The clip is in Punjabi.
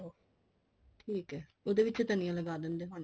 ਠੀਕ ਹੈ ਉਹਦੇ ਵਿੱਚ ਤਣੀਆ ਲਗਾ ਦਿੰਦੇ ਹੋਣੇ